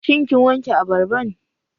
Shin kin wanke abarban?